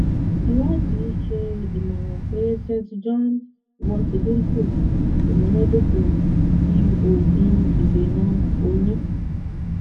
iwadi ṣe imọran pe st john wort dinku imunadoko ti oogun idena oyun